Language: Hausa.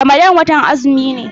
Ramadan watan azumi ne.